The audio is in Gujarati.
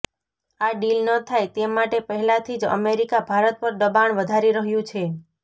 આ ડીલ ન થાય તે માટે પહેલાથી જ અમેરિકા ભારત પર દબાણ વધારી રહ્યુ છે